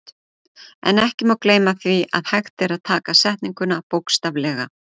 En ekki má gleyma því að hægt er að taka setninguna bókstaflega.